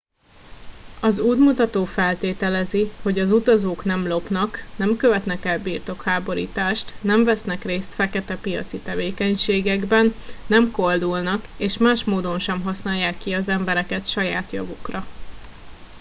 az útmutató feltételezi hogy az utazók nem lopnak nem követnek el birtokháborítást nem vesznek részt feketepiaci tevékenységekben nem koldulnak és más módon sem használják ki az embereket saját javukra